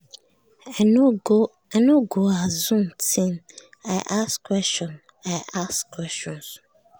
i no go assume ting i ask questions i ask questions